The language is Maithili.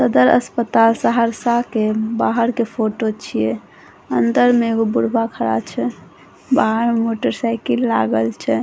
सदर अस्पताल सहरसा के बाहर के फोटो छीये अंदर में एगो बुर्बा खड़ा छै बाहर में एगो मोटर साइकिल लागल छै।